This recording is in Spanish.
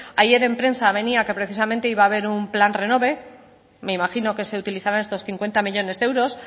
ayer en prensa venía que precisamente iba a haber un plan renove me imagino que se utilizarán estos cincuenta millónes de euros